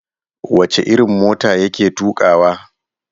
Wace irin mota ya ke tukawa?